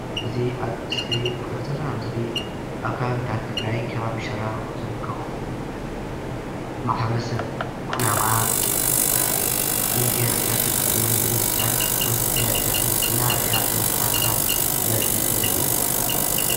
እዚ አብ እስክሪን እነሪኣ ዘለና ምስሊ አብ ከባብታት ትግራይ አብ ከባቢ ሽራሮ ዝርከቡ ማሕበረሰብ ኩናማ መጋየፅታት ተጠቂመን ብመስትያት ነቲ መጋየፅትታትን እናረእያ እናስተካከላ ዘሪኢ ምስሊ እዩ፡፡